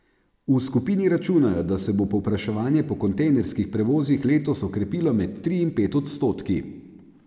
V skupini računajo, da se bo povpraševanje po kontejnerskih prevozih letos okrepilo med tri in pet odstotki.